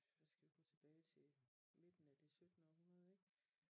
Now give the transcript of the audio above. Der skal vi måske tilbage midten af det syttende århundrede ik